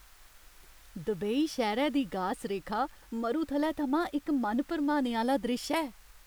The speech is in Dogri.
दुबई शैह्रै दी गास रेखा मरुथलै थमां इक मन भरमाने आह्‌ला द्रिश्श ऐ।